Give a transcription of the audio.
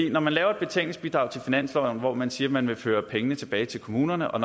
når man laver et betænkningsbidrag til finansloven hvori man siger at man vil føre pengene tilbage til kommunerne og